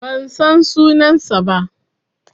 Ban san sunansa ba.